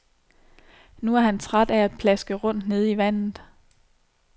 Nu er han træt af at plaske rundt nede i vandet.